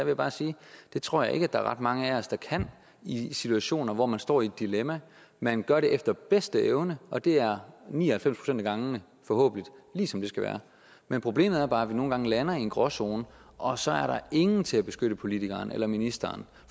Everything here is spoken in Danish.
jeg bare sige at det tror jeg ikke der er ret mange af os der kan i situationer hvor man står i et dilemma man gør det efter bedste evne og det er ni og halvfems procent af gangene forhåbentlig lige som det skal være men problemet er bare at vi nogle gange lander i en gråzone og så er der ingen til at beskytte politikeren eller ministeren